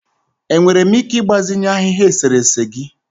Enwere m ike ịgbazinye ahịhịa eserese gị?